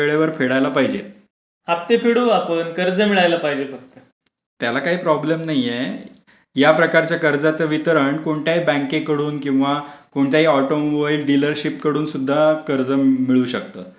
त्याला काही प्रॉब्लेम नाहीये या प्रकारच्या कर्जाचे वितरण कोणत्याही बँकेकडून किंवा कोणत्याही ऑटोमोबाईल डीलरशिप कडून सुद्धा कर्ज मिळू शकतात.